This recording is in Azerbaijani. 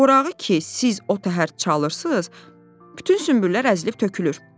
Orağı ki, siz o təhər çalırsız, bütün sünbüllər əzilib tökülür.